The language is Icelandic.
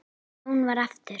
Jón vann aftur.